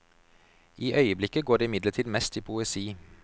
I øyeblikket går det imidlertid mest i poesi.